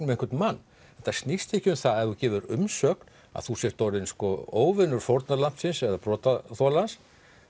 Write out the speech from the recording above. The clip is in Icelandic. um einhvern mann þetta snýst ekki um það að ef þú gefur umsögn að þú sért orðinn óvinur fórnarlambsins eða brotaþolans